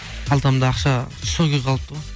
қалтамда ақша сол күйі қалыпты ғой